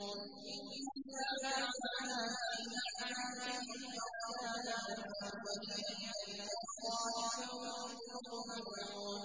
إِنَّا جَعَلْنَا فِي أَعْنَاقِهِمْ أَغْلَالًا فَهِيَ إِلَى الْأَذْقَانِ فَهُم مُّقْمَحُونَ